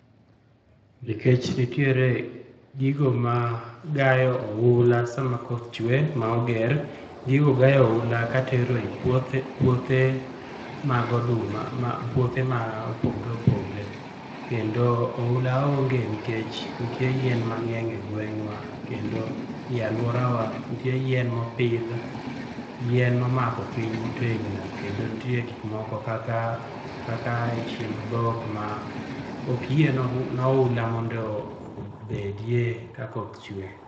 Nikech nitiere gigo ma gayo oula sama koth chwe ma oger. Gigo gayo oula kaka tero e puothe mag oduma puothe mopogre opogre kendo oula onge nikech nitie yien mang'eny egweng'wa kendo ei aluorawa nitie yien mopidh, yien momako piny motegno kendo nitie gik moko kaka chiemb dhok ma ok yie noula obedie ka koth chwe.